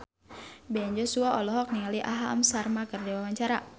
Ben Joshua olohok ningali Aham Sharma keur diwawancara